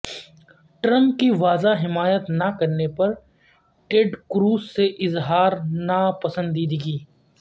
Trump کی واضح حمایت نا کرنے پر ٹیڈ کروز سے اظہار ناپسندیدگی